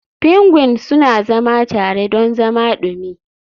Pingwin suna zama tare don zama dumi.